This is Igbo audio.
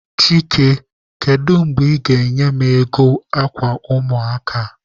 Chike, kedu mgbe ị ga-enye m ego akwa ụmụaka a?